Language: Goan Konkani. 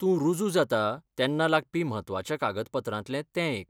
तूं रुजू जाता तेन्ना लागपी महत्वाच्या कागदपत्रांतलें तें एक.